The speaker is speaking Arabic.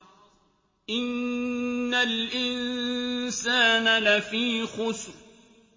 إِنَّ الْإِنسَانَ لَفِي خُسْرٍ